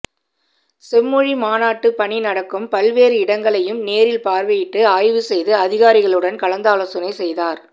செம்மொழி மாநாட்டுப் பணி நடக்கும் பல்வேறு இடங்களையும் நேரில் பார்வையிட்டு ஆய்வு செய்து அதிகாரிகளுடன் கலந்தாலோசனை செய்தார்